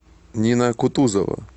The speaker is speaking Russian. нина кутузова